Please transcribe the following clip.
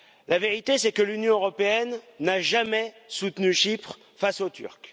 La vérité, c'est que l'Union européenne n'a jamais soutenu Chypre face aux Turcs.